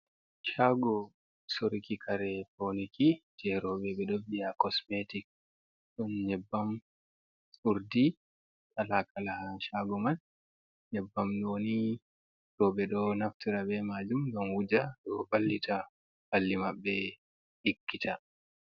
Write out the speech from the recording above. Chago soruki kare pauniki je roɓɓe ɓe ɗo bi a cosmetic, ɗon nyebbam, urdi laka kala ha chago man, nyebbam ɗo ni roɓɓe ɗo naftira be majum ngam wuja, ɗo vallita ɓalli maɓɓe ɗigita.